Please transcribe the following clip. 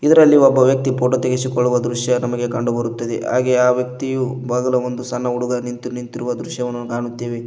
ಇದರಲ್ಲಿ ಒಬ್ಬ ವ್ಯಕ್ತಿ ಫೋಟೋ ತೆಗೆಸಿಕೊಳ್ಳುವ ದೃಶ್ಯ ನಮಗೆ ಕಂಡು ಬರುತ್ತದೆ ಹಾಗೆ ಆ ವ್ಯಕ್ತಿಯು ಬಗಲ ಒಂದು ಸಣ್ಣ ಹುಡುಗ ನಿಂತು ನಿಂತಿರುವ ದೃಶ್ಯವನ್ನು ಕಾಣುತ್ತಿವೆ.